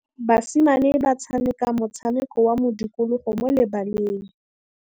Basimane ba tshameka motshameko wa modikologô mo lebaleng.